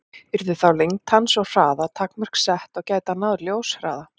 Yrðu þá lengd hans og hraða takmörk sett, og gæti hann náð ljóshraða?